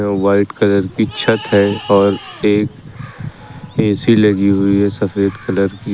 White colour की छत है और एक ए_सी लगी हुई है सफेद कलर की।